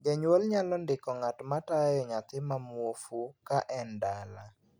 Jonyuol nyalo ndiko ng'at ma tayo nyathi ma muofu ka en dala.